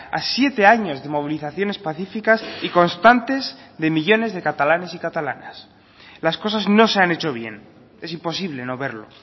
a siete años de movilizaciones pacíficas y constantes de millónes de catalanes y catalanas las cosas no se han hecho bien es imposible no verlo